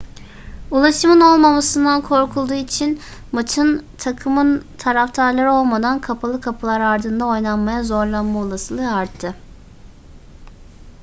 ulaşımın olmamasından korkulduğu için maçın takımın taraftarları olmadan kapalı kapılar ardında oynanmaya zorlanma olasılığı arttı